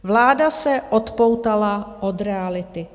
Vláda se odpoutala od reality.